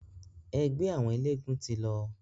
Ẹgbẹ́ àwọn eléegún ti lọ.